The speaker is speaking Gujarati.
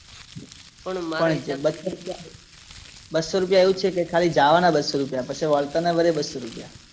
પણ મારે બસ્સો રુપિયા એવુજ છે કે ખાલી જવાના બસ્સો રુપિયા પછી આવતાના ફરી બસ્સો રુપિયા